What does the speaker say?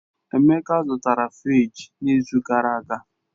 Emeka zụtara fịrij n'izu gara aga